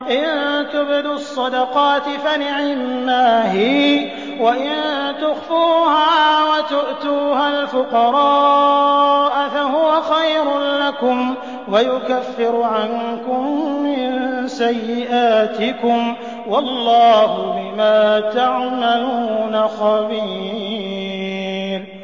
إِن تُبْدُوا الصَّدَقَاتِ فَنِعِمَّا هِيَ ۖ وَإِن تُخْفُوهَا وَتُؤْتُوهَا الْفُقَرَاءَ فَهُوَ خَيْرٌ لَّكُمْ ۚ وَيُكَفِّرُ عَنكُم مِّن سَيِّئَاتِكُمْ ۗ وَاللَّهُ بِمَا تَعْمَلُونَ خَبِيرٌ